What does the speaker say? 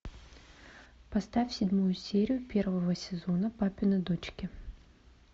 поставь седьмую серию первого сезона папины дочки